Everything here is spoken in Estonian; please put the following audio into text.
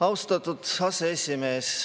Austatud aseesimees!